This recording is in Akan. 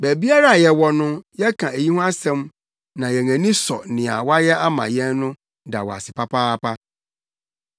Baabiara a yɛwɔ no yɛka eyi ho asɛm na yɛn ani sɔ nea woayɛ ama yɛn no da wo ase papaapa.